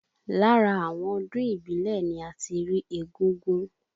Lára àwọn ọdún ìbílẹ̀ ni a ti rí égúngún